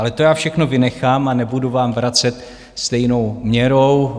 Ale to já všechno vynechám a nebudu vám vracet stejnou měrou.